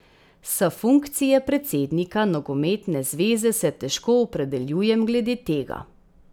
S funkcije predsednika nogometne zveze se težko opredeljujem glede tega.